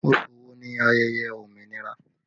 Oṣù wo ni ayẹyẹ òmìnira?